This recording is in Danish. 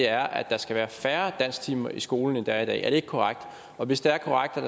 er at der skal være færre dansktimer i skolen end der er i dag er det ikke korrekt og hvis det er korrekt at